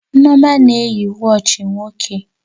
Nneoma na-eyi wọọchi nwoke